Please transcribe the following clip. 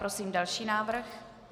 Prosím další návrh.